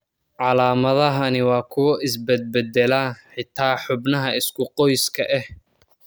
Calaamadahani waa kuwo is bedbeddela, xitaa xubnaha isku qoyska ah.